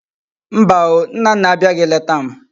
Mba o! Nnanna abiaghi leta m